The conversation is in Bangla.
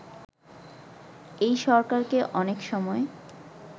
এই সরকারকে অনেক সময়